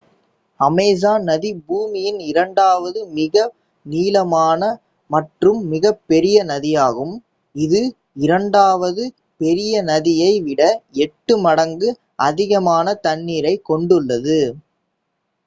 Amazon நதி பூமியின் இரண்டாவது மிக நீளமான மற்றும் மிகப்பெரிய நதியாகும் இது இரண்டாவது பெரிய நதியை விட 8 மடங்கு அதிகமான தண்ணீரைக் கொண்டுள்ளது